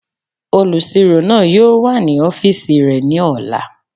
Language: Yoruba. Olùsirò náà yóò wà ní ọ́fìsì rẹ̀ ní ọ̀la